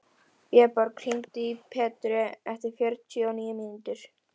Vébjörg, hringdu í Petru eftir fjörutíu og níu mínútur.